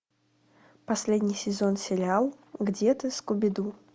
последний сезон сериал где ты скуби ду